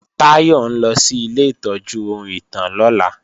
Táyọ̀ ń lọ sí ilé ìtọ́jú ohun ìtàn lọ́la